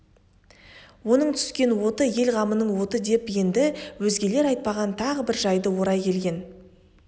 оның түскен оты ел қамының оты еді деп енді өзгелер айтпаған тағы бір жайды орай келген